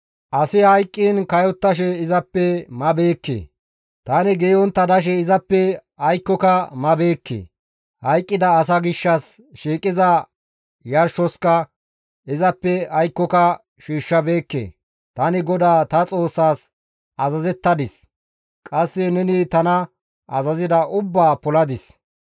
Asi hayqqiin kayottashe izappe mabeekke; tani geeyontta dashe izappe aykkoka mabeekke; hayqqida asa gishshas shiiqiza yarshoska izappe aykkoka shiishshabeekke. Tani GODAA ta Xoossaas azazettadis; qasse neni tana azazida ubbaa poladis.